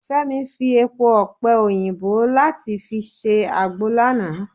Femi fi èpo ọpẹ - oyinbo láti fi ṣe agbo lánàá.